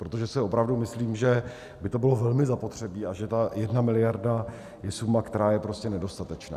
Protože si opravdu myslím, že by to bylo velmi zapotřebí a že ta jedna miliarda je suma, která je prostě nedostatečná.